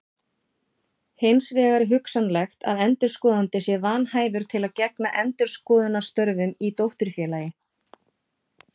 Hins vegar er hugsanlegt að endurskoðandi sé vanhæfur til að gegna endurskoðunarstörfum í dótturfélagi.